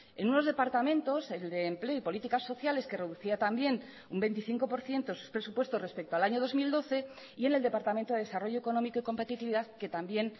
en unos departamentos el de empleo y políticas sociales que reducía también un veinticinco por ciento sus presupuestos respecto al año dos mil doce y en el departamento de desarrollo económico y competitividad que también